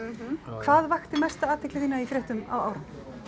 hvað vakti mesta athygli þína í fréttum á árinu